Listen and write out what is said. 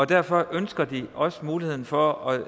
derfor ønsker de også muligheden for at